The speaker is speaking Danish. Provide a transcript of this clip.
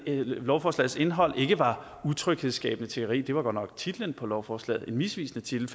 lovforslagets indhold ikke var utryghedsskabende tiggeri det var godt nok titlen på lovforslaget en misvisende titel